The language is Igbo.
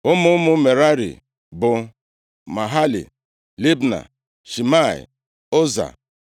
Ụmụ ụmụ Merari bụ Mahali, Libni, Shimei, Ụza,